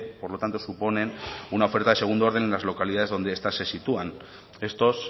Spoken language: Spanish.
por lo tanto suponen una oferta de segundo orden en las localidades donde estas se sitúan estos